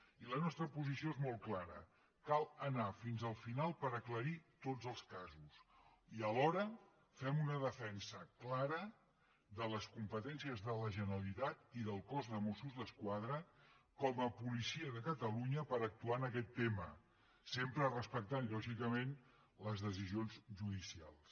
i la nostra posició és molt clara cal anar fins al final per aclarir tots els casos i alhora fem una defensa clara de les competències de la generalitat i del cos de mossos d’esquadra com a policia de catalunya per actuar en aquest tema sempre respectant lògicament les decisions judicials